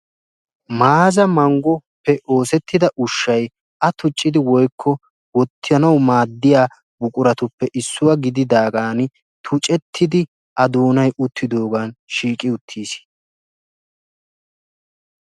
maazza manggoppe oosettida ushshay woykko a tucchidi wottanawu maadiya buquratuppe issuwa gididaagaani tuccettidi a doonay uttidoogan shiiqqi uttiis.